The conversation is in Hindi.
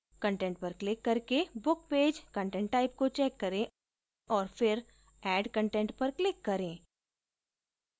content पर क्लिक करके book page content type को check करें और फिर add content पर क्लिक करें